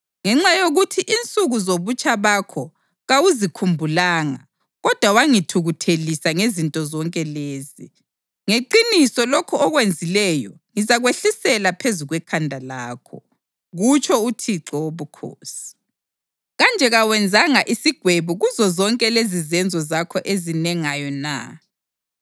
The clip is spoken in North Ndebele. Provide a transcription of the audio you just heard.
Ngenxa yokuthi insuku zobutsha bakho kawuzikhumbulanga kodwa wangithukuthelisa ngezinto zonke lezi, ngeqiniso lokhu okwenzileyo ngizakwehlisela phezu kwekhanda lakho, kutsho uThixo Wobukhosi. Kanje kawenzanga isigwebo kuzozonke lezizenzo zakho ezinengayo na?